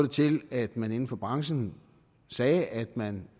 til at man inden for branchen sagde at man